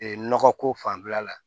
Ee nɔgɔko fanfɛla la